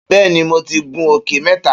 Beeni, mo ti gun òkè meta.